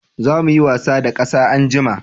Za mu yi wasa da ƙasa anjima